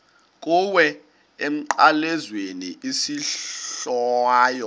kuwe emnqamlezweni isohlwayo